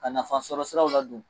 Ka nafasɔrɔ siraw ladon.